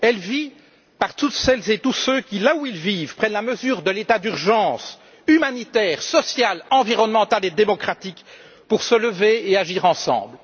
Elle vit par toutes celles et tous ceux qui, là où ils vivent, prennent la mesure de l'état d'urgence humanitaire, sociale, environnementale et démocratique pour se lever et agir ensemble.